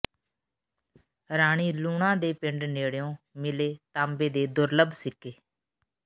ਰਾਣੀ ਲੂਣਾ ਦੇ ਪਿੰਡ ਨੇਡ਼ਿਓਂ ਮਿਲੇ ਤਾਂਬੇ ਦੇ ਦੁਰਲੱਭ ਸਿੱਕੇ